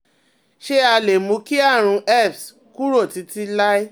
Ṣé a lè mú kí àrùn herpes kúrò títí láé?